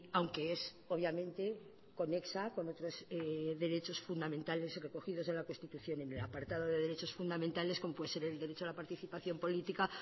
aunque es obviamente conexa con otros derechos fundamentales recogidos en la constitución en el apartado de derechos fundamentales como puede ser el derecho a la participación política